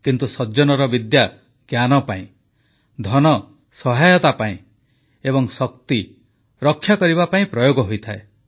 କିନ୍ତୁ ସଜ୍ଜନର ବିଦ୍ୟା ଜ୍ଞାନ ପାଇଁ ଧନ ସହାୟତା ପାଇଁ ଏବଂ ଶକ୍ତି ରକ୍ଷାକରିବା ପାଇଁ ପ୍ରୟୋଗ ହୋଇଥାଏ